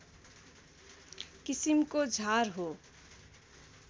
किसिमको झार हो